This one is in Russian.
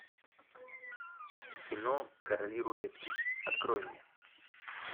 кино короли рулетки открой мне